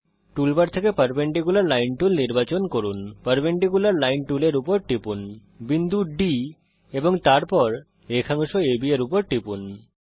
টুল bar থেকে perpendicular line tool নির্বাচন করুন পারপেন্ডিকুলার লাইন টুলের উপর টিপুন বিন্দু D এবং তারপর রেখাংশ AB এর উপর টিপুন